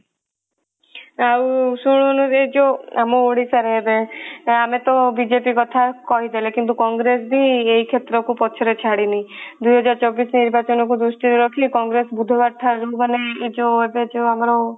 ଆଉ ଶୁଣୁନୁ ଏଇ ଆମ ଓଡିଶା ଏବେ ଆମେ ତ ବିଜେପି କଥା କହିଦେଲେ କିନ୍ତୁ କଂଗ୍ରେସ ବି ଏହି କ୍ଷେତ୍ରକୁ ପଛରେ ଛାଡିନି ଦୁଇ ହଜାର ଚବିଶ ନିର୍ନାଚନ କୁ ଦ୍ରୁଷ୍ଟି କୁ ଦେଖି କଂଗ୍ରେସ ବୁଧବାର ଠାରୁ ମାନେ ଏଇ ଏବେ ଯୋଉ ଆମର